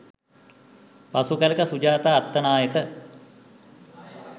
පසු කලෙක සුජාතා අත්තනායක